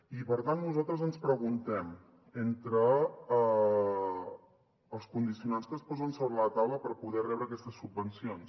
i per tant nosaltres ens preguntem pels condicionants que es posen sobre la taula per poder rebre aquestes subvencions